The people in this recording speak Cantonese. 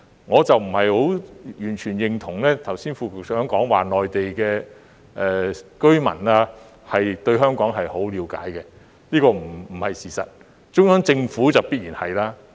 我不完全認同剛才副局長說內地居民對香港很了解，這不是事實，而中央政府當然很了解。